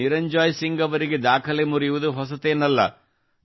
ನಿರಂಜಾಯ್ ಸಿಂಗ್ ಅವರಿಗೆ ದಾಖಲೆ ಮುರಿಯುವುದು ಹೊಸತೇನಲ್ಲ